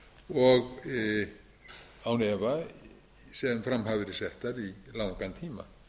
og án efa sem fram hafi verið settar í langan tíma